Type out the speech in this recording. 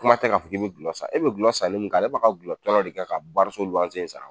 Kuma tɛ ka fɔ k'i bi dulɔ sa, e be dulɔ sanni min k'a la e be ka dulɔ tɔnɔ de kɛ ka so luwanse in sara